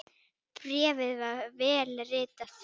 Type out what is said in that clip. Bréfið var vel ritað.